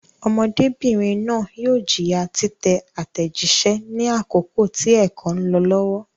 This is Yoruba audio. Ọmọdébìnrin náà yóò jìyà títẹ àtẹ̀jíṣẹ́ ní àkókò tí ẹ̀kọ́ ń lọ lọ́wọ́.